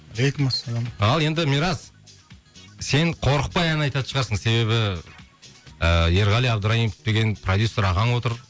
алейкумассалам ал енді мирас сен қорықпай ән айтатын шығарсың себебі ыыы ерғали абдраимов деген продюссер ағаң отыр